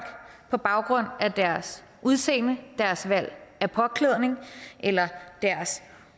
på baggrund af deres udseende deres valg af påklædning eller deres